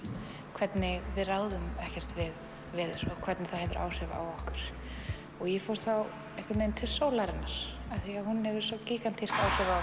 hvernig við ráðum ekkert við veður og hvernig það hefur áhrif á okkur og ég fór þá einhvern veginn til sólarinnar af því að hún hefur svo gígantísk áhrif á